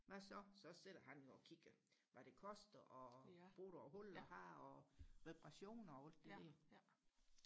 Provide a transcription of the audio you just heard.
hvad så så sad han jo og kiggede hvad det koster og reparationer og alt det der